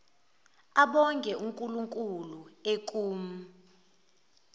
abonge unkulunkulu ekum